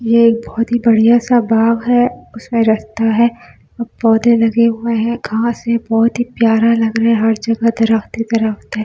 यह बहुत ही बढ़िया सा बाग है उसमें रखता है और पौधे लगे हुए हैं कहां से बहुत ही प्यारा लग रहा है हर जगह दरख्त ही दरख़्त है।